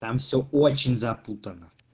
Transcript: там всё очень запутанно